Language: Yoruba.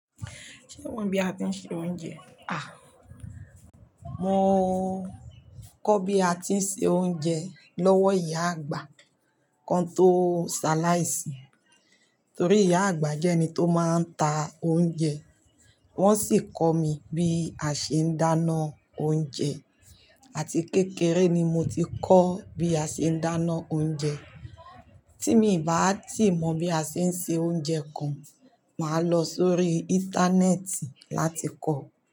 Ṣé o mọ bí à tí ń ṣe oúnjẹ? À, mo kọ́ bí a ti ń se oúnjẹ lọ́wọ́ ìyá àgbà kan tó ṣàláì sì. Tori iya agba jẹ ẹni to maa n ta ounjẹ. Wọ́n sì kọ mí bí a ṣe ń dáná oúnjẹ àti kékeré ni mo ti kọ́ bí a ṣe ń dáná oúnjẹ. Tí mi bá tì mọ̀ bí a ṣe ń se oúnjẹ kan, màá lọ sórí Íńtánẹ́ẹ̀tì láti kọ̀